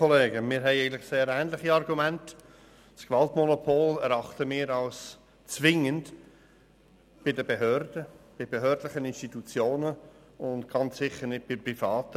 Unseres Erachtens muss das Gewaltmonopol zwingend bei behördlichen Institutionen sein und ganz sicher nicht bei Privaten.